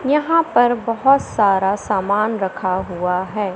यहां पर बहोत सारा सामान रखा हुआ है।